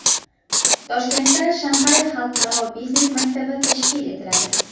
Toshkentda Shanxay xalqaro biznes maktabi tashkil etiladi.